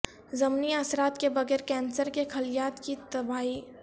ضمنی اثرات کے بغیر کینسر کے خلیات کی تباہی